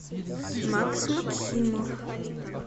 макс максимов